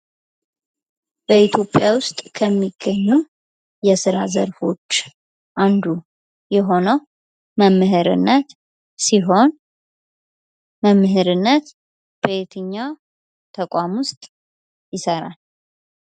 በኢትዮጵያ ውስጥ ከሚገኙ የስራ ዘርፎች አንዱ የሆነው መምህርነት ሲሆን መምህርነት የትኛው ተቋም ውስጥ ይሰራል ?